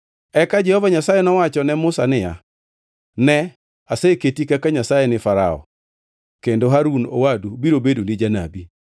Eka Jehova Nyasaye nowacho ne Musa niya, “Ne, aseketi kaka Nyasaye ni Farao, kendo Harun owadu biro bedoni janabi.